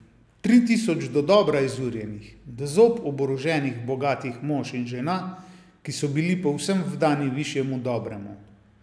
Tri tisoč dodobra izurjenih, do zob oboroženih bogatih mož in žena, ki so bili povsem vdani višjemu dobremu.